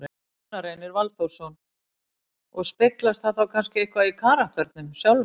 Gunnar Reynir Valþórsson: Og speglast það þá kannski eitthvað í karakternum sjálfum?